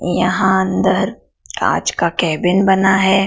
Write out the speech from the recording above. यहां अंदर कांच का केबिन बना है।